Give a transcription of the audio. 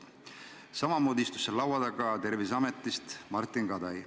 Laua taga istus ka Martin Kadai Terviseametist.